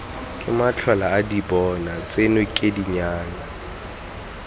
ke matlholaadibona tseno ke dinyana